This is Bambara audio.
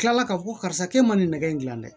Tila ka fɔ ko karisa e man nin nɛgɛ in gilan dɛ